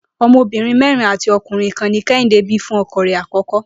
O̩mo̩bìnrin mé̩rin àti o̩kùnrin kan ni Ké̩hìndé bí fún ọkọ rẹ àkọ́kọ́